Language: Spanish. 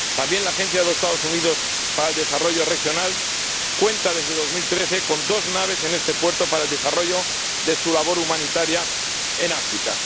También la Agencia de los Estados Unidos para el Desarrollo Regional cuenta, desde el año 2013, con dos naves en este puerto para el desarrollo de su labor humanitaria en África.